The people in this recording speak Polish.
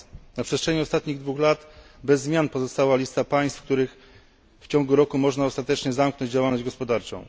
Na przestrzeni ostatnich dwóch lat bez zmian pozostała lista państw, w których w ciągu roku można ostatecznie zamknąć działalność gospodarczą.